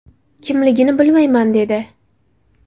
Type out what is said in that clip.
Kimligini bilmayman”, dedi.